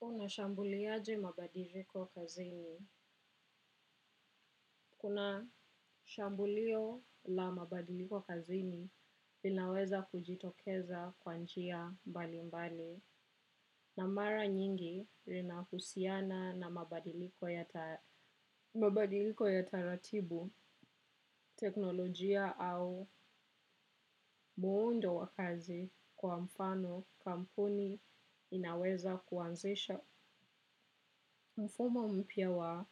Unashambuliaje mabadiliko kazi ni. Kuna shambulio la mabadiliko kazi ni inaweza kujitokeza kwanjia mbali mbali. Na mara nyingi rinahusiana na mabadiliko ya mabadiliko ya taratibu, teknolojia au muundo wakazi kwa mfano kampuni inaweza kuanzisha. Mfumo mpia wa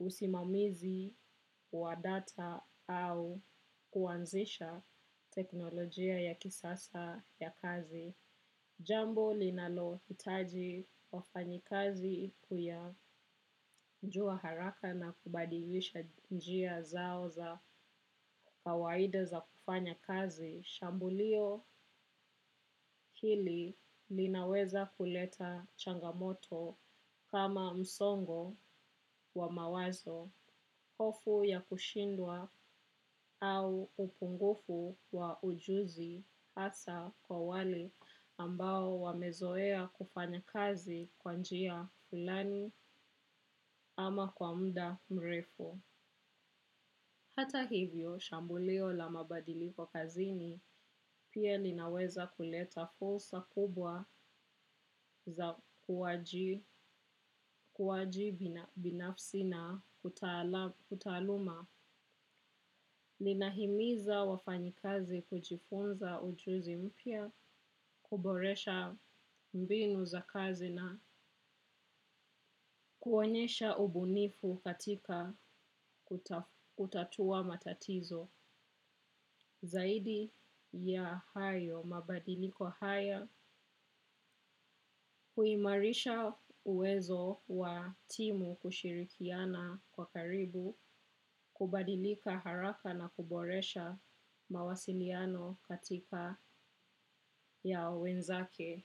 usimamizi wa data au kuanzisha teknolojia ya kisasa ya kazi. Jambo linalo hitaji wafanyi kazi kuya njua haraka na kubadilisha njia zao za kawaida za kufanya kazi. Shambulio hili linaweza kuleta changamoto kama msongo wa mawazo, hofu ya kushindwa au upungufu wa ujuzi hasa kwa wale ambao wamezoea kufanya kazi kwanjia fulani ama kwa mda mrefu. Hata hivyo, shambulio la mabadiliko kazini pia linaweza kuleta fulsa kubwa za kuwaji binafsi na kutaluma. Linahimiza wafanyikazi kujifunza ujuzi mpia, kuboresha mbinu za kazina, kuonyesha ubunifu katika kutatua matatizo. Zaidi ya hayo mabadiliko haya huimarisha uwezo wa timu kushirikiana kwa karibu, kubadilika haraka na kuboresha mawasiliano katika ya wenzake.